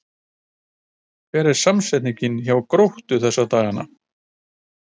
Hvernig er stemmningin hjá Gróttu þessa dagana?